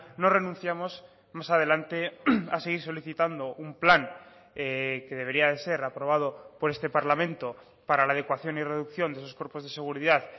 no renunciamos más adelante a seguir solicitando un plan que debería de ser aprobado por este parlamento para la adecuación y reducción de esos cuerpos de seguridad